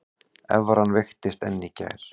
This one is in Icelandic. Evran veiktist enn í gær